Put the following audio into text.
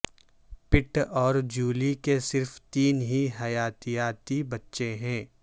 پٹ اور جولی کے صرف تین ہی حیاتیاتی بچے ہیں